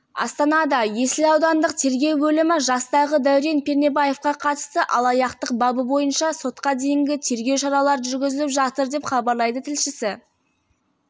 астанада есіл аудандық тергеу бөлімі жастағы дәурен пернебаевқа қатысты алаяқтық бабы бойынша сотқа дейінгі тергеу шаралары жүргізіліп жатыр деп хабарлайды тілшісі